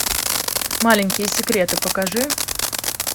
маленькие секреты покажи